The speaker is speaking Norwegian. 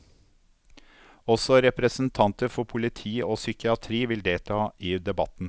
Også representanter for politi og psykiatri vil delta i debatten.